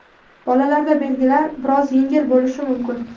Bolalarda belgilar biroz yengil bo‘lishi mumkin.